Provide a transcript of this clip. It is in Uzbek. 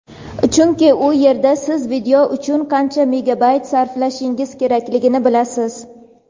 chunki u yerda siz video uchun qancha megabayt sarflashingiz kerakligini bilasiz.